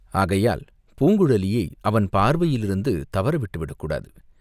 ஆகையால் பூங்குழலியை அவன் பார்வையிலிருந்து தவற விட்டுவிடக் கூடாது.